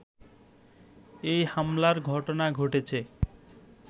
এই হামলার ঘটনা ঘটেছে